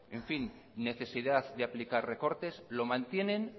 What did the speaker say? en fin necesidad de aplicar recortes lo mantienen